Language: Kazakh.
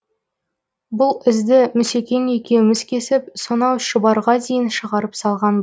бұл ізді мүсекең екеуміз кесіп сонау шұбарға дейін шығарып салған